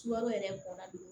Sukaro yɛrɛ bɔnna